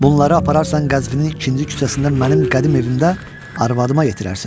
Bunları apararsan Qəzvini ikinci küçəsində mənim qədim evimdə arvadıma yetirərsən.